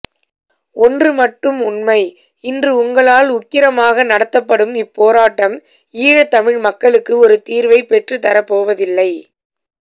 ஒன்ரு மட்டும் உண்மை இன்று உங்களால் உக்கிரமாக நடத்தப்படும் இப்போராட்டம் ஈழத்தமிழ் மக்களுக்கு ஒரு தீர்வைப் பெற்றுத் தரப்போவதில்லை